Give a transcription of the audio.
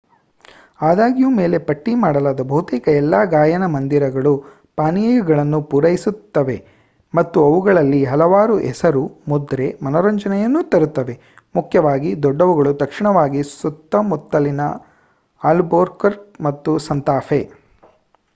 ಆದಾಗ್ಯೂ ಮೇಲೆ ಪಟ್ಟಿ ಮಾಡಲಾದ ಬಹುತೇಕ ಎಲ್ಲಾ ಗಾಯನ ಮoದಿರಗಳು ಪಾನೀಯಗಳನ್ನು ಪೂರೈಸುತ್ತವೆ ಮತ್ತು ಅವುಗಳಲ್ಲಿ ಹಲವಾರು ಹೆಸರು-ಮುದ್ರೆ ಮನರಂಜನೆಯನ್ನು ತರುತ್ತವೆ ಮುಖ್ಯವಾಗಿ ದೊಡ್ಡವುಗಳು ತಕ್ಷಣವಾಗಿ ಸುತ್ತಮುತ್ತಲಿನ ಅಲ್ಬುಕರ್ಕ್ ಮತ್ತು ಸಾಂತಾಫೆ